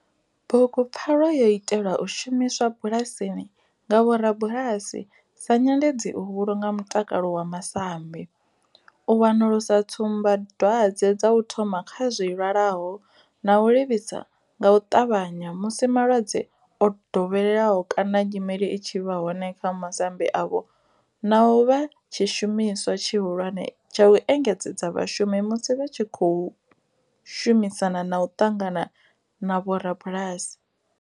Bugupfarwa yo itelwa u shumiswa bulasini nga vhorabulasi sa nyendedzi u vhulunga mutakalo wa masambi, u wanulusa tsumbadwadzwe dza u thoma kha zwilwalaho na u livhisa nga u tavhanya musi malwadze o dovheleaho kana nyimele i tshi vha hone kha masambi avho, na u vha tshishumiswa tshihulwane tsha u engedzedza vhashumi musi vha tshi khou shumisana na u ṱangana na vhorabulasi.